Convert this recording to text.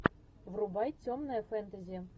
врубай темное фэнтези